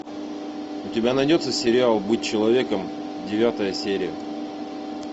у тебя найдется сериал быть человеком девятая серия